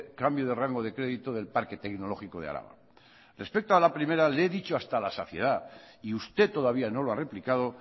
cambio de rango de crédito del parque tecnológico de araba respecto a la primera le he dicho hasta la saciedad y usted todavía no lo ha replicado